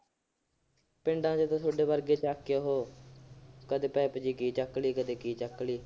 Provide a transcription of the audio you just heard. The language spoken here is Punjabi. ਪਿੰਡਾਂ ਚ ਉਹ ਥੋਡੇ ਵਰਗੇ ਚੱਕ ਕੇ ਉਹ ਕਦੇ ਪਾਈਪ ਜੀ ਕੀ ਚੱਕ ਲਈ, ਕਦੇ ਕੀ ਚੱਕ ਲਈ।